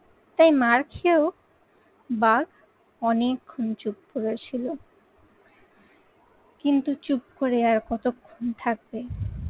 তাই মার খেয়েও বাঘ অনেকক্ষণ চুপ করে ছিল। কিন্তু চুপ করে আর কতক্ষণ থাকবে